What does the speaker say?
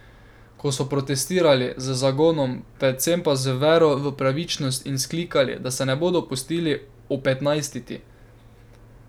Ko so protestirali, z zagonom, predvsem pa z vero v pravičnost in vzklikali, da se ne bodo pustili opetnajstiti.